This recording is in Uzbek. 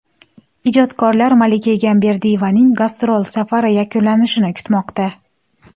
Ijodkorlar Malika Egamberdiyevaning gastrol safari yakunlanishini kutmoqda.